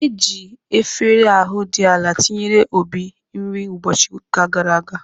Eji efere ahu di ala ntinyere Obi nri ụbọchị ụka gara aga.